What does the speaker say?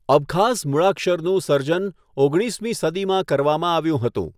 અબખાઝ મૂળાક્ષરનું સર્જન ઓગણીસમી સદીમાં કરવામાં આવ્યું હતું.